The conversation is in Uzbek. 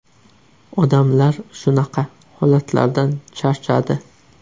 Odamlar shunaqa holatlardan charchadi.